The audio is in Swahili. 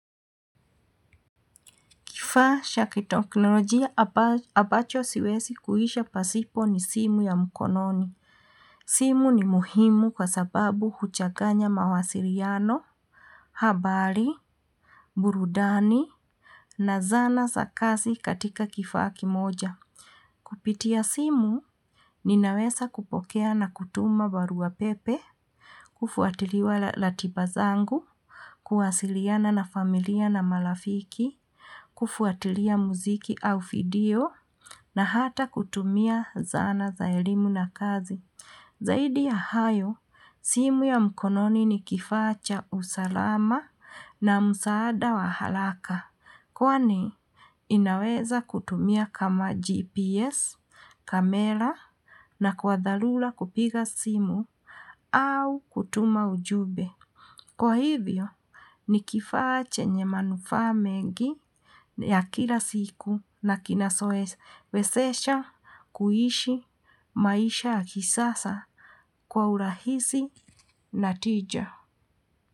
Kifaa cha kiteknolojia ambacho siwezi kuishi pasipo ni simu ya mkononi. Simu ni muhimu kwa sababu huchaganya mawasiliano, habari, burudani, na zana za kazi katika kifaa kimoja. Kupitia simu, ninaweza kupokea na kutuma barua pepe, kufuatilia ratiba zangu, kuwasiliana na familia na marafiki, kufuatilia muziki au video, na hata kutumia zana za elimu na kazi. Zaidi ya hayo, simu ya mkononi ni kifaa cha usalama na msaada wa haraka, kwani inaweza kutumia kama GPS, kamera na kwa dharura kupiga simu au kutuma ujumbe. Kwa hivyo, ni kifaa chenye manufaa mengi ya kila siku na kinachowezesha kuishi maisha ya kisasa kwa urahisi na tija.